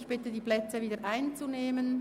Ich bitte Sie, die Plätze wieder einzunehmen.